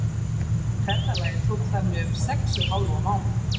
Ferðalagið tók þannig um sex og hálfan mánuð.